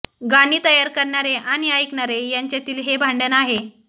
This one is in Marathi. गाणी तयार करणारे आणि ऐकणारे यांच्यातील हे भांडण आहे